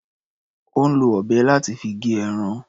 Ò ń lo ọ̀bẹ láti fi gé ẹran.